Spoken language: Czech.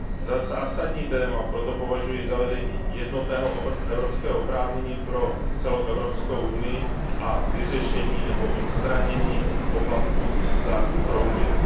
Za zásadní téma proto považuji zavedení jednotného evropského oprávnění pro celou Evropskou unii a vyřešení nebo odstranění poplatků za roaming.